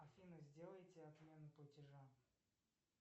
афина сделайте отмену платежа